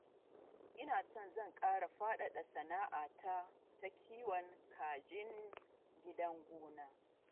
Ina so zan ƙara faɗaɗa sana'a ta ta kiwon kajin gidan gona